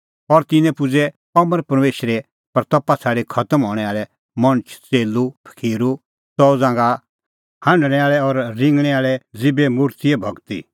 और तिन्नैं की अमर परमेशरे महिमां छ़ाडी खतम हणैं आल़ै मणछ च़ेल्लू पखीरू च़ऊ ज़ांघा हांढणै आल़ै और रिंगणैं आल़ै ज़ीबे मुर्तिए भगती